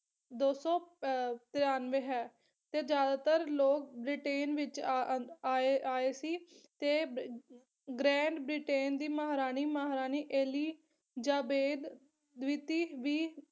ਦੋ ਸੌ ਅਹ ਤਰਾਨਵੇ ਹੈ ਤੇ ਜ਼ਿਆਦਾਤਰ ਲੋਕ ਬ੍ਰਿਟੇਨ ਵਿੱਚ ਅਹ ਆਏ ਆਏ ਸੀ ਤੇ ਗਰੈਂਡ ਬ੍ਰਿਟੇਨ ਦੀ ਮਹਾਰਾਣੀ ਮਹਾਰਾਣੀ ਏਲੀ ਜਾਬੇਦ ਰੀਤੀ ਵੀ